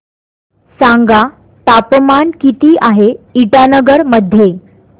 सांगा तापमान किती आहे इटानगर मध्ये